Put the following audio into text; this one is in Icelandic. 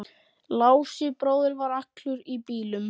Lási bróðir var allur í bílum.